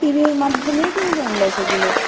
TV র মাধ্যমেই কিন্তু আমরা সেগুলো